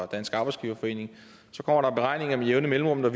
dansk arbejdsgiverforening og andre med jævne mellemrum og